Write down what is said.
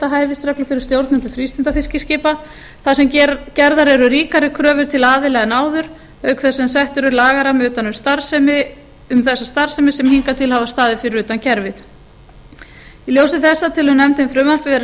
hæfisreglur fyrir stjórnendur frístundafiskiskipa þar sem gerðar eru ríkari kröfur til aðila en áður auk þess sem settur er lagarammi utan um þessa starfsemi sem hingað til hafa staðið fyrir utan kerfið í ljósi þessa telur nefndin frumvarpið vera